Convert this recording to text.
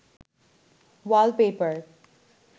ওয়াল paper